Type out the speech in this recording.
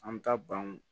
An bɛ taa banw